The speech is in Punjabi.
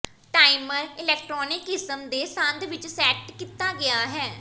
ਟਾਈਮਰ ਇਲੈਕਟ੍ਰਾਨਿਕ ਕਿਸਮ ਦੇ ਸੰਦ ਵਿੱਚ ਸੈੱਟ ਕੀਤਾ ਗਿਆ ਹੈ